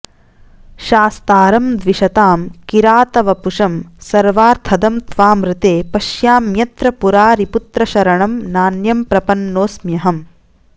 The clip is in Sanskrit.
शास्तारं द्विषतां किरातवपुषं सर्वार्थदं त्वामृते पश्याम्यत्र पुरारिपुत्र शरणं नान्यं प्रपन्नोऽस्म्यहम्